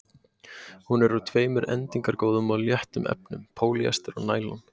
Hún er úr tveimur endingargóðum og léttum efnum: pólýester og næloni.